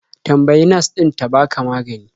Tambayi nas ɗin ta baka magani.